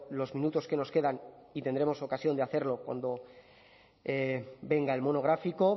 los minutos que nos quedan y tendremos ocasión de hacerlo cuando venga el monográfico